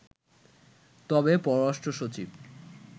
তবে পররাষ্ট্র সচিব